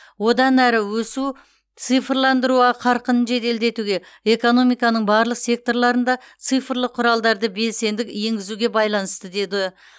одан әрі өсу цифрландыру қарқынын жеделдетуге экономиканың барлық секторларында цифрлық құралдарды белсенді енгізуге байланысты деді